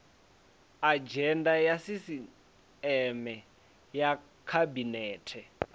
adzhenda ya sisieme ya khabinete